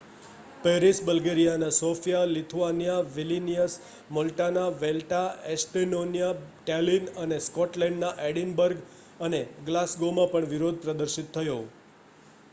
Paris બલ્ગેરિયાના સોફિયા લિથુઆનિયાના વિલ્નિયસ મૉલ્ટાના વૅલેટા એસ્ટોનિયાના ટૅલિન અને સ્કૉટલૅન્ડના એડિનબર્ગ અને ગ્લાસગોમાં પણ વિરોધ પ્રદર્શિત થયો